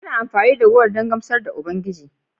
Ana amfani da kolanut don gamsar da Ubangiji